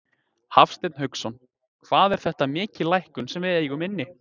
Hafsteinn Hauksson: Hvað er þetta mikil lækkun sem við eigum inni?